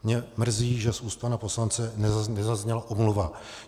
Mě mrzí, že z úst pana poslance nezazněla omluva.